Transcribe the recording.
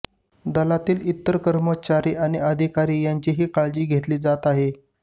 दलातील इतर कर्मचारी आणि अधिकारी यांचीही काळजी घेतली जात आहे